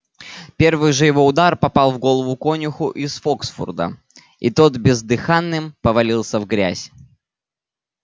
первый же его удар попал в голову конюху из фоксфурда и тот бездыханным повалился в грязь